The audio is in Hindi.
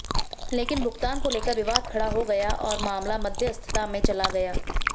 लेकिन भुगतान को लेकर विवाद खड़ा हो गया और मामला मध्यस्थता में चला गया